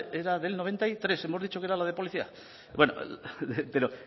era del noventa y tres hemos dicho que era la de policía bueno pero